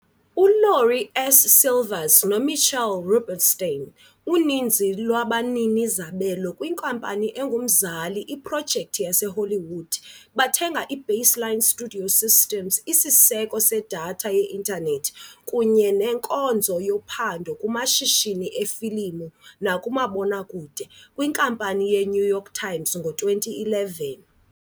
ULaurie S. Silvers noMitchell Rubenstein, uninzi lwabanini-zabelo kwinkampani engumzali iProjekthi yaseHollywood, bathenga iBaseline StudioSystems, isiseko sedatha ye-intanethi kunye nenkonzo yophando kumashishini efilimu nakumabonakude, kwiNkampani yeNew York Times ngo-2011.